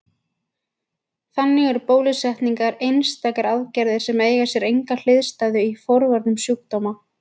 Þannig eru bólusetningar einstakar aðgerðir sem eiga sér enga hliðstæðu í forvörnum sjúkdóma.